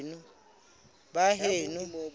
baheno